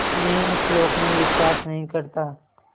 मैं उस लोक में विश्वास नहीं करता